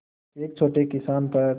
एक छोटे किसान पर